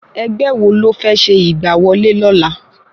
Ẹgbẹ́ wo lófẹ́ ṣe ìgbà wọlé lọla?